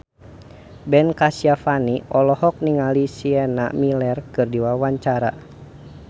Ben Kasyafani olohok ningali Sienna Miller keur diwawancara